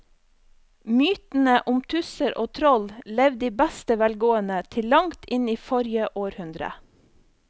Mytene om tusser og troll levde i beste velgående til langt inn i forrige århundre.